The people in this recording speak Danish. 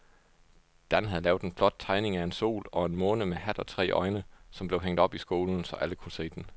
Dan havde lavet en flot tegning af en sol og en måne med hat og tre øjne, som blev hængt op i skolen, så alle kunne se den.